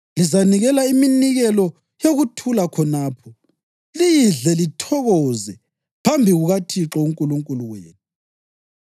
Lizanikela iminikelo yokuthula khonapho, liyidle lithokoze phambi kukaThixo uNkulunkulu wenu.